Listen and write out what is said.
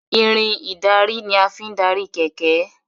Irin ìdarí ní a fín darí kẹ̀kẹ́.